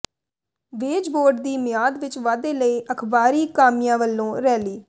veg ਬੋਰਡਾਂ ਦੀ ਮਿਆਦ ਵਿਚ ਵਾਧੇ ਲਈ ਅਖ਼ਬਾਰੀ ਕਾਮਿਆਂ ਵੱਲੋਂ ਰੈਲੀ